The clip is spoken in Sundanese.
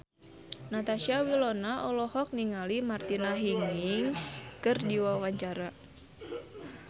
Natasha Wilona olohok ningali Martina Hingis keur diwawancara